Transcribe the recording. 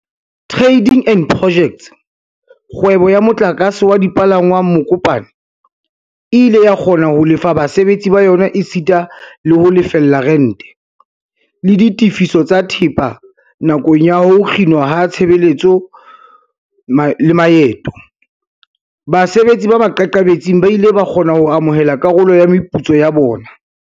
Tra-ding and Pojects, kgwebo ya motlakase wa dipalangwang Mokopane, e ile ya kgona ho lefa basebetsi ba yona esita le ho lefella rente, le ditefiso tsa thepa nakong ya ho kginwa ha tshebetso le maeto. Basebetsi ba maqakabetsing ba ile ba kgona ho amohela karolo ya meputso ya bona.